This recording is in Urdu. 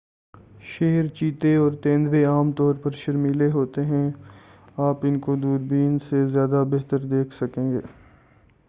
شیر چیتے اور تیندوے عام طور پر شرمیلے ہوتے ہیں اور آپ اُن کو دُوربین سے زیادہ بہتر دیکھ سکیں گے